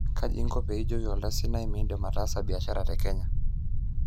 kaji inko pee ijoki oltansaniai midim atasa biashara te Kenya?